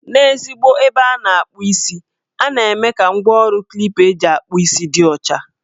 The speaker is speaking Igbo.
N' ezigbo ebe a na-akpụ isi, a na-eme ka ngwaọrụ Klipa eji akpụ isi dị ọcha.